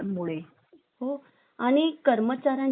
आणि कर्मचाऱ्यांना सुरक्षित